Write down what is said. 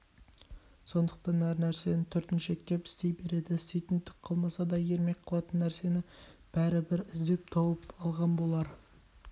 сондықтан әр нәрсені түртіншектеп істей береді істейтін түк қалмаса да ермек қылатын нәрсені бәрібір іздеп тауып алған болар